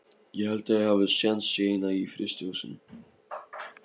Ég held að ég hafi séns í eina í frystihúsinu.